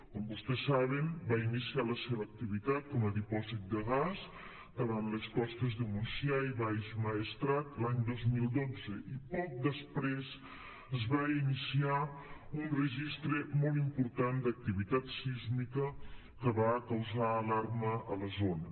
com vostès saben va iniciar la seva activitat com a dipòsit de gas davant les costes de montsià i baix maestrat l’any dos mil dotze i poc després es va iniciar un registre molt important d’activitat sísmica que va causar alarma a la zona